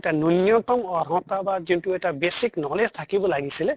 এটা ন্য়ুন্য়্তম অৰ্হতা বা যোনটো এটা basic knowledge থাকিব লাগিছিলে